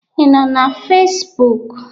Ị nọ na Fesbuk?